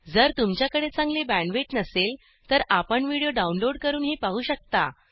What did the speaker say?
जर तुमच्याकडे चांगली बॅण्डविड्थ नसेल तर आपण व्हिडिओ डाउनलोड करूनही पाहू शकता